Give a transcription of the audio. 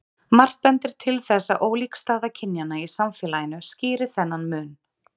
margt bendir til þess að ólík staða kynjanna í samfélaginu skýri þennan mun